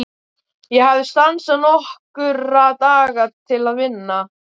Ég hafði stansað nokkra daga til að vinna.